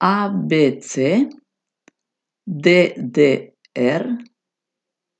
A B C; D D R;